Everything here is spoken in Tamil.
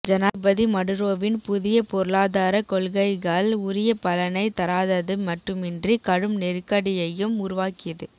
ஜனாதிபதி மடுரோவின் புதிய பொருளாதார கொள்கைகள் உரிய பலனை தராதது மட்டுமின்றி கடும் நெருக்கடியையும் உருவாக்கியது